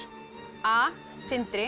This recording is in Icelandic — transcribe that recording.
a